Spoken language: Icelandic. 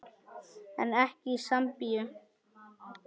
En ekki í Sambíu.